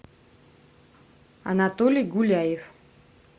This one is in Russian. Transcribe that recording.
анатолий гуляев